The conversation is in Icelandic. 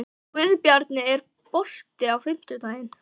Guðbjarni, er bolti á fimmtudaginn?